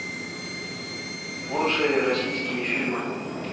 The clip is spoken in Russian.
лучшие российские фильмы